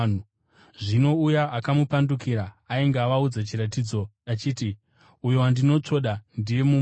Zvino uya akamupandukira ainge avaudza chiratidzo achiti, “Uyo wandinotsvoda ndiye; mumusunge.”